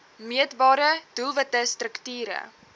meetbare doelwitte strukture